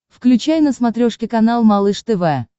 включай на смотрешке канал малыш тв